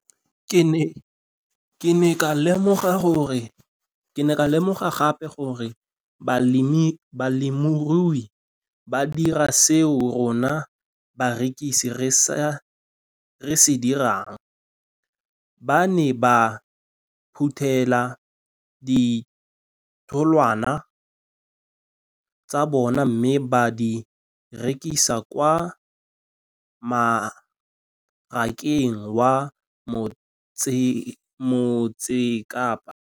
Ke ne ka lemoga gape gore balemirui ba dira seo rona barekisi re se dirang ba ne ba phuthela ditholwana tsa bona mme ba di rekisa kwa marakeng wa Motsekapa.